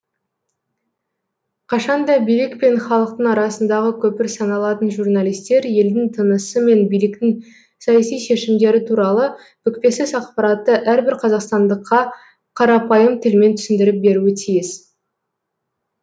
қашан да билік пен халықтың арасындағы көпір саналатын журналистер елдің тынысы мен биліктің саяси шешімдері туралы бүкпесіз ақпаратты әрбір қазақстандыққа қарапайым тілмен түсіндіріп беруі тиіс